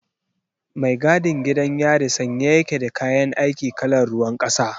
Mai gadin gidan yari sanye ya ke da kayan aiki kalar ruwan kasa.